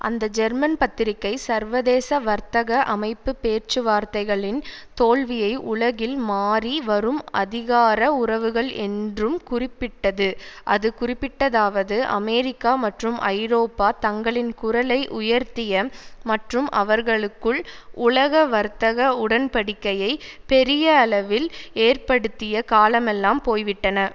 அந்த ஜெர்மன் பத்திரிகை சர்வதேச வர்த்தக அமைப்பு பேச்சுவார்த்தைகளின் தோல்வியை உலகில் மாறி வரும் அதிகார உறவுகள் என்றும் குறிப்பிட்டது அது குறிப்பிட்டதாவது அமெரிக்கா மற்றும் ஐரோப்பா தங்களின் குரலை உயர்த்திய மற்றும் அவர்களுக்குள் உலக வர்த்தக உடன்படிக்கையை பெரியளவில் ஏற்படுத்திய காலமெல்லாம் போய்விட்டன